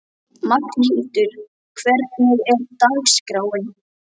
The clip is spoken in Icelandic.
Magnhildur, hvernig er dagskráin?